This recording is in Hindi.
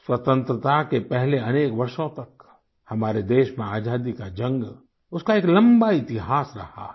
स्वतंत्रता के पहले अनेक वर्षों तक हमारे देश में आज़ादी की जंग उसका एक लम्बा इतिहास रहा है